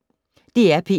DR P1